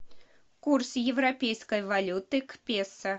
курс европейской валюты к песо